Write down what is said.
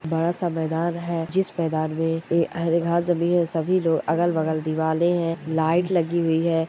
बड़ा सा मैदान है जिस मैदान मे हरी घास जमी है और सभी लोग अगल बगल दिवाले है लाइट लगि हुई है।